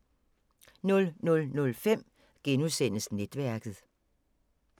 00:05: Netværket *